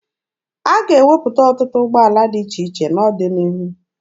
A ga-ewepụta ọtụtụ ụgbọala dị iche iche n'ọdịnihu.